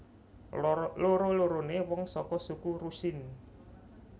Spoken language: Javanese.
Loro loroné wong saka suku Rusyn